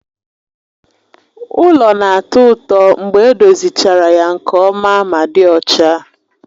Ụlọ na-atọ ụtọ mgbe edozichara ya nke ọma ma dị ọcha